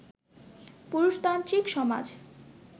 পুরুষতান্ত্রিক সমাজ